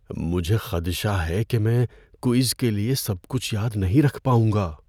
مجھے خدشہ ہے کہ میں کوئز کے لیے سب کچھ یاد نہیں رکھ پاؤں گا۔